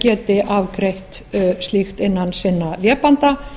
geti afgreitt slíkt innan sinna vébanda